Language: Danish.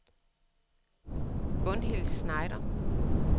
Gunhild Schneider